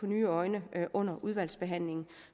nye øjne under udvalgsbehandlingen